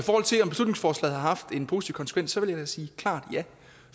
til om beslutningsforslaget har haft en positiv konsekvens vil jeg da sige klart ja